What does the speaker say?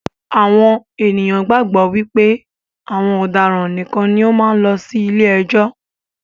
Àwọn ènìyàn gbàgbọ́ wípé àwọn ọ̀daràn nìkan ni ó máa ń lọ sí ilé ẹjọ́